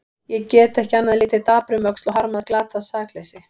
Ég get ekki annað en litið dapur um öxl og harmað glatað sakleysi.